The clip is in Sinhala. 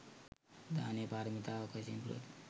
දානය පාරමිතාවක් වශයෙන් පුරති.